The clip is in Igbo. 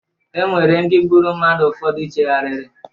E nwere ndị gburu mmadu ụfọdụ cheghariri